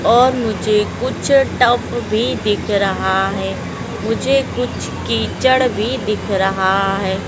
और मुझे कुछ टब भी दिख रहा है मुझे कुछ कीचड़ भी दिख रहा है।